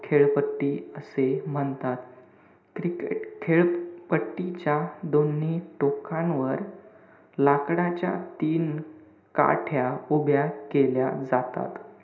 खेळपट्टी असे म्हणतात. cricket खेळपट्टीच्या दोन्ही टोकांवर लाकडाच्या तीन काठ्या उभ्या केल्या जातात.